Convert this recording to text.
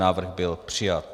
Návrh byl přijat.